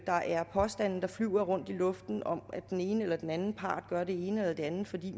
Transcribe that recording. der er påstande der flyver rundt i luften om at den ene eller den anden part gør det ene eller det andet fordi